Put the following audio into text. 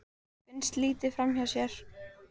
Finnst litið framhjá sér